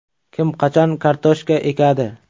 Kim, qachon kartoshka ekadi?